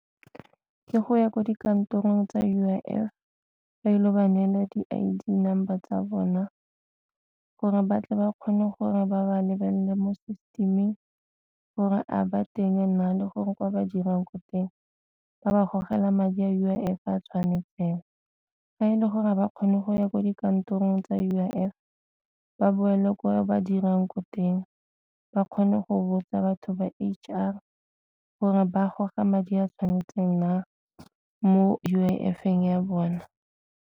Ke go ya ko dikantorong tsa U_I_F ba ile ba neela di-I_D number tsa bona gore batle ba kgone gore ba ba lebelele mo system-ing gore a ba teng na le gore kwa ba dirang ko teng ba ba gogela madi a U_I_F a tshwanetseng. Ga e le gore ba kgone go ya ko dikantorong tsa U_I_F ba boele gore ba dirang ko teng ba kgone go botsa batho ba H_R gore ba goga madi a tshwanetseng na mo U_I_F ya bona.